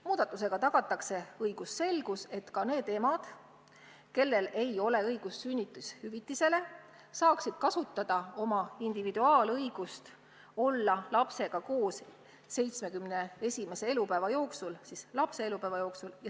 Muudatusega tagatakse õigusselgus, et ka need emad, kellel ei ole õigust sünnitushüvitisele, saaksid kasutada oma ainuõigust olla lapsega koos tema 70 esimese elupäeva jooksul.